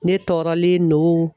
Ne tɔɔrɔlen don.